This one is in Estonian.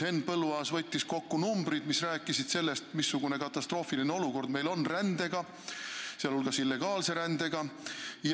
Henn Põlluaas võttis kokku numbrid, mis räägivad sellest, missugune katastroofiline olukord on meil rände, sh illegaalse rände koha pealt.